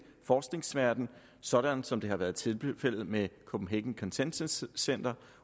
forskningsverden sådan som det har været tilfældet med copenhagen consensus center